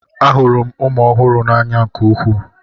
Ahụrụ m ụmụ ọhụrụ n'anya nke ukwuu.